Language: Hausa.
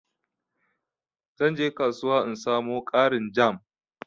zan je kasuwa in samo ƙarin jam.